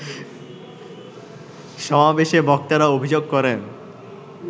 সমাবেশে বক্তারা অভিযোগ করেন